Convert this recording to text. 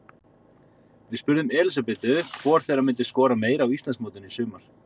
Við spurðum Elísabetu hvor þeirra myndi skora meira á Íslandsmótinu í sumar?